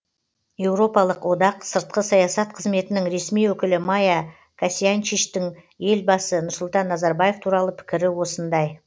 еуропалық одақ сыртқы саясат қызметінің ресми өкілі майя косьянчичтің елбасы нұрсұлтан назарбаев туралы пікірі осындай